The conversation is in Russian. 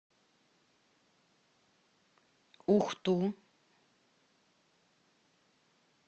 ухту